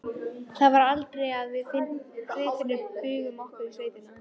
Það var aldrei að við Friðfinnur brugðum okkur í sveitina.